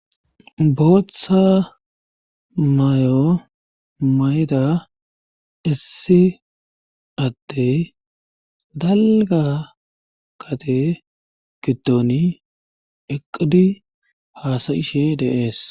booththa mayo mayda issi atte dalga qade giddon eqidi haasayishe de'ees